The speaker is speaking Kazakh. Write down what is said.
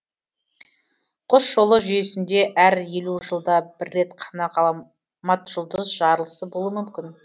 құс жолы жүйесінде әр елу жылда бір рет қана ғала матжұлдыз жарылысы болуы мүмкін